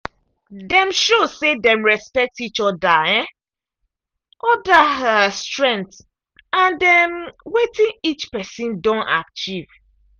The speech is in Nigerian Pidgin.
dem show say dem respect each um other strength and um wetin each person don achieve.